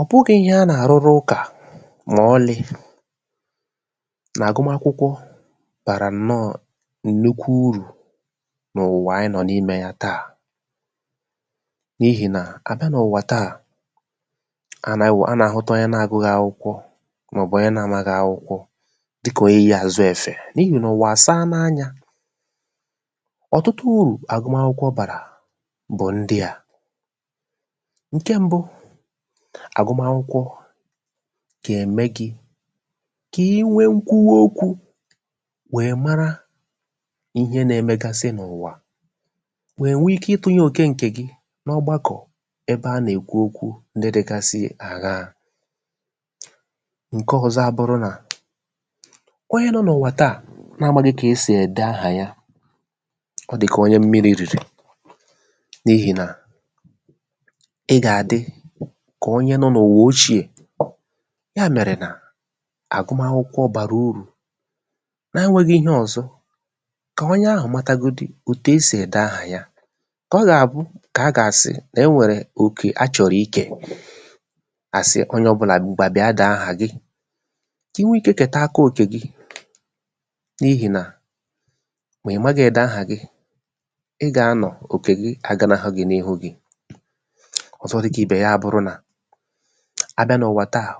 ọ̀ bụgị̄ ihe a nà àrụrụ ụkà mà ọlị̄ nà àgụ́makwụkwọ bàrà ǹnọọ̄ ǹnukwu urù n’ụ̀wà ayị nọ̀ nimē ya taa n’ihì nà a bịa n’ụwa taa a nà-awụ a nà-àhụta onye na- agụ̄ghị̄ akwụkwọ màọ̀bụ̀ onye na-amaghị̄ akwụkwọ dịkà onye yī àzụ èfè n’ihì nà ụ̀wà àsaala anyā ọ̀tụtụ urù àgụmakwụkwọ bàrà bụ̀ ndị à ṅ̀ke m̄bụ̄ àgụmakwụkwọ gà-ème gị̄ kà i nwee ṅkwuwa okwū wèe mara ihe na-̄ emegasịn’ụ̀wà wèe nwee ike ịtụ̄nyē òke ṅ̀kè gị n’o̩gbakọ ebe a nà-èkwu okwū ndị dị̄gāsị̄ àghaā ṅ̀ke ọ̄zọ̄ abụrụ nà onye nọ̄ n’ʊ̣̀wà taa na-amāghị̄ kà e sì ède ahà ya ọ dị̀ kà onye mmirī rìrì n’ihì nà ị gà-àdị kà onye nọ̄ n’ụ̀wà ochīè ya mèrè nà àgụmakwụkwọ bàrà urù na-anwēgị̄ ihe ọ̀zọ kà onye ahụ̀ matagodu òtù e sì ède ahà ya kà ọ gà-àbụ kà a gà-àsị nà e nwèrè òkè a chọ̀rọ̀ ikè à sị onye ọbụ̄là ṅ̀gwà bịa dèe ahà gị kà i nwee ikē kèta aka òkè gị n’ihì nà mà ị̀ maghị̄ ède ahà gị ị gà anọ̀ òkè gị aganahụ gị̄ n’ihu gị̄ ọ̀zọ dị̄ kà ibè ya bụrụ nà a bịa nà ụwà taà